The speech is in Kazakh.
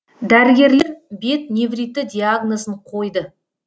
дәрігерлер бет невриті диагнозын қойды